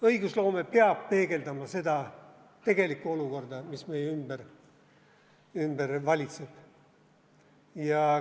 Õigusloome peab peegeldama tegelikku olukorda, mis meie ümber valitseb.